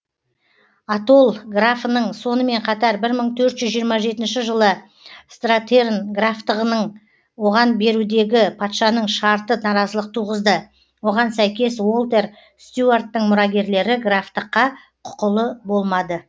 атолл графының сонымен қатар бір мың төрт жүз жиырма жетінші жылы стратерн графтығының оған берудегі патшаның шарты наразылық туғызды оған сәйкес уолтер стюарттың мұрагерлері графтыққа құқылы болмады